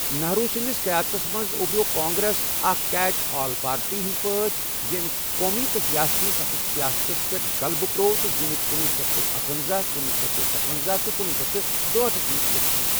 نہرو سنٛز قیادتس منٛز اُبرٮ۪و کانگریس اکھ کیچ آل پارٹی ہنٛد پٲٹھۍ، یٔمۍ قومی تہٕ ریاستی سطحٕچ سیاستس پٮ۪ٹھ غَلبہٕ پرٛٲو تہٕ زینکھ کنۄہ شیتھ اکۄنزہَ، کنۄہ شیتھ ستۄنزہ تہٕ کنۄہ شیتھ دُہاٹھسَ منٛز اِلیکشَن۔